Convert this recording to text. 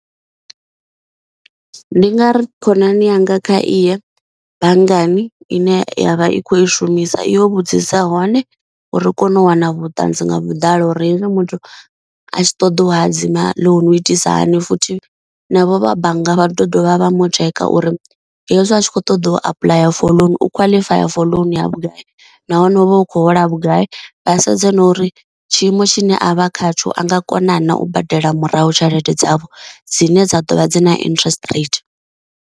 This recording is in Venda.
Ndi nga ri khonani yanga kha iye banngani ine ya vha i khou i shumisa i yo vhudzisa hone uri ri kone u wana vhuṱanzi nga vhuḓalo uri ine muthu a tshi ṱoḓa u hadzima ḽounu itisa hani futhi navho vha bannga vha ḓo dovha vha mu tsheka uri hezwi a tshi kho ṱoḓa u apuḽaya for loan u khwaḽifaya for loan ya vhugai, nahone hu vha hu khou hola vhugai vha sedze na uri tshiimo tshine a vha khatsho a nga kona na u badela murahu tshelede dzavho dzine dza dovha dza na interest rate.